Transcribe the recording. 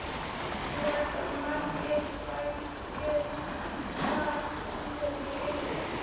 Nú eru margir bæir þar komnir í eyði.